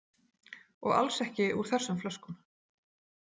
Og alls ekki úr þessum flöskum.